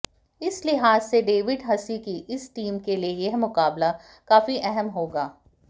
इस लिहाज से डेविड हसी की इस टीम के लिए यह मुकाबला काफी अहम होगा